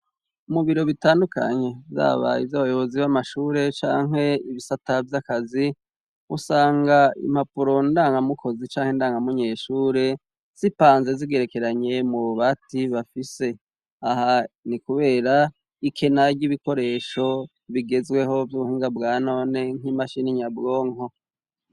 mu biro bitandukanye zaba ibyabayobozi b'amashure cankwe ibisata by'akazi usanga impapuro ndangamukozi canke indangamunyeshure zipanze zigerekeranye mu bbati bafise aha ni kubera ikena ry'ibikoresho bigezweho by'ubuhinga bwa none nk'imashini inyabwonko